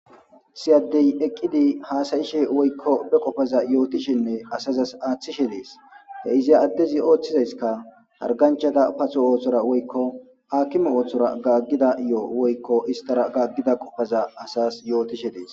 siyaddey eqqidi haasayishe woykko be qoppaza yootishinne asazas aaththishe dees he iza addezi ooththizayskka harganchata paso ooththora woykko akima ooththora gaaggida yo7o woykko istara gaaggida qofaza asas yootishe dees